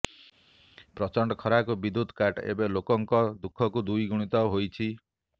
ପଚଣ୍ଡ ଖରାତାତିକୁ ବିଦ୍ୟୁତ କାଟ୍ ଏବେ ଲୋକଙ୍କ ଦୁଃଖକୁ ଦ୍ୱିଗୁଣିତ ହୋଇଛି